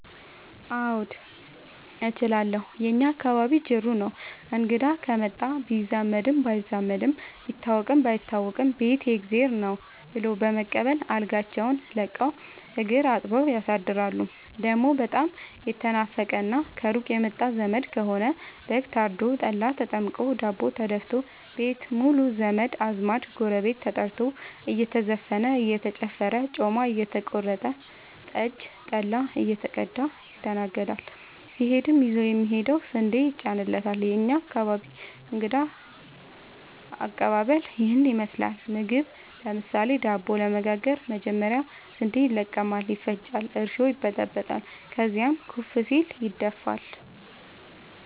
አዎድ እችላለሁ የእኛ አካባቢ ጅሩ ነው። እንግዳ ከመጣ ቢዛመድም ባይዛመድም ቢታወቅም ባይታወቅም ቤት የእግዜር ነው። ብሎ በመቀበል አልጋቸውን ለቀው እግር አጥበው ያሳድራሉ። ደሞ በጣም የተናፈቀና ከሩቅ የመጣ ዘመድ ከሆነ በግ ታርዶ፤ ጠላ ተጠምቆ፤ ዳቦ ተደፋቶ፤ ቤት ሙሉ ዘመድ አዝማድ ጎረቤት ተጠርቶ እየተዘፈነ እየተጨፈረ ጮማ እየተቆረጠ ጠጅ ጠላ እየተቀዳ ይስተናገዳል። ሲሄድም ይዞ የሚሄደው ስንዴ ይጫንለታል። የእኛ አካባቢ እንግዳ ከቀባበል ይህን ይመስላል። ምግብ ለምሳሌ:- ዳቦ ለመጋገር መጀመሪያ ስንዴ ይለቀማል ይፈጫል እርሾ ይበጠበጣል ከዚያም ኩፍ ሲል ይደፋል።